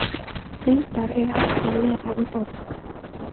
Hundar eiga ekki að vera í borg.